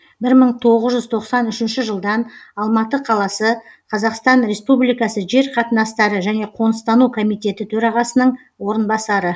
бір мың тоғыз жүз тоқсан үшінші жылдан алматы қаласы қазақстан республикасы жер қатынастары және қоныстану комитеті төрағасының орынбасары